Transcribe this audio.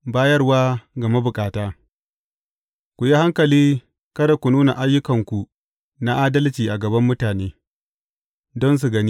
Bayarwa ga mabukata Ku yi hankali kada ku nuna ayyukanku na adalci’ a gaban mutane, don su gani.